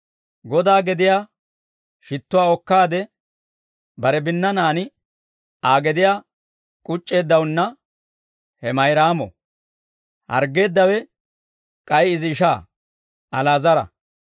Godaa gediyaa shittuwaa okkaade, bare binnanaan Aa gediyaa k'uc'c'eeddawunna he Mayraamo; harggeeddawe k'ay izi ishaa Ali'aazara.